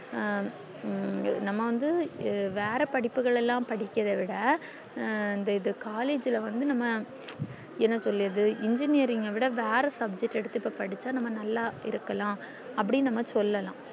ஹம் நம்ம வந்து வேற படிப்புகள எல்லாம் படிக்கிறது விட இந்த இது collage ல வந்து நம்ம என்ன சொல்லியது engineering விட வேற subject எடுத்து இப்ப படிச்சா நல்லா இருக்கலாம் அப்டின்னு நம்ம சொல்லலாம்